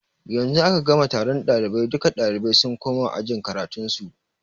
Yanzu aka gama taron ɗalibai, duka ɗalibai sun koma ajin karatun su